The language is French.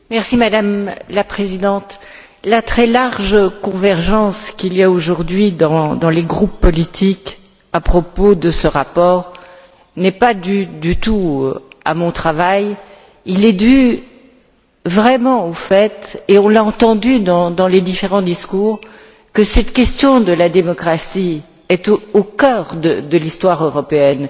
Madame la Présidente, la très large convergence qu'il y a aujourd'hui dans les groupes politiques à propos de ce rapport n'est pas du tout due à mon travail, elle est vraiment due au fait et on l'a entendu dans les différents discours que cette question de la démocratie est au cœur de l'histoire européenne.